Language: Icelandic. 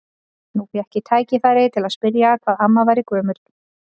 Nú fékk ég tækifæri til að spyrja hvað amma væri gömul.